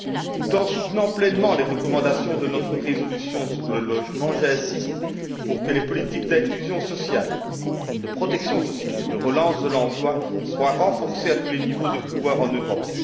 Tout en soutenant pleinement les recommandations de notre résolution sur le logement, j'insiste pour que les politiques d'inclusion sociale, de protection sociale et de relance de l'emploi soient renforcées à tous les niveaux de pouvoir en Europe.